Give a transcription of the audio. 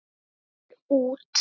Ég vil út!